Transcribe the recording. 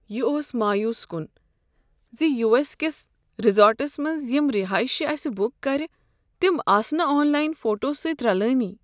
یہ اوس مایوس کن ز یو ایس کس ریزورٹس منٛز یم رہٲیشہ اسہ بک کرِ تم آسہٕ نہٕ آن لائن فوٹو سۭتۍ رلٲنٕے۔